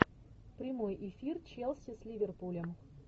прямой эфир челси с ливерпулем